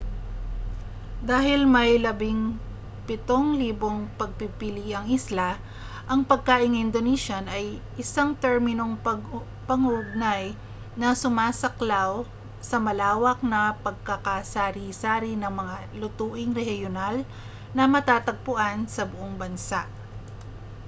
dahil may 17,000 pagpipiliang isla ang pagkaing indonesian ay isang terminong pang-ugnay na sumasaklaw sa malawak na pagkakasari-sari ng mga lutuing rehiyonal na matatagpuan sa buong bansa